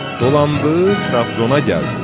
Dolandı, Trabzona gəldi.